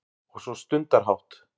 Og svo stundarhátt